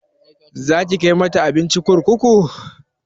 Zaki kai mata abinci kurkuku?